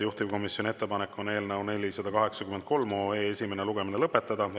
Juhtivkomisjoni ettepanek on eelnõu 483 esimene lugemine lõpetada.